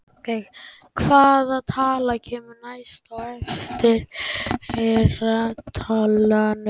Hvaða tala kemur næst í eftirfarandi talnarunu?